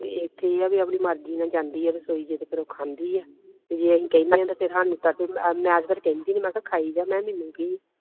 ਤੇ ਇਥੇ ਆ ਵੀ ਆਪਣੀ ਮਰਜੀ ਨਾਲ ਜਾਂਦੀ ਆ ਰਸੋਈ ਚ ਤੇ ਫੇਰ ਉਹ ਖਾਂਦੀ ਆ ਤੇ ਜੇ ਅਸੀਂ ਕਹਿਣੇ ਆ ਤੇ ਫੇਰ ਸਾਨੂੰ ਮੈਂ ਤੇ ਫੇਰ ਕਹਿੰਦੀ ਨਹੀਂ ਮੈਂ ਕਿਹਾ ਖਾਇ ਜਾ ਮੈਂ